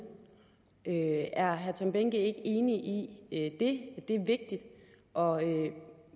er herre tom behnke ikke enig i at det er vigtigt og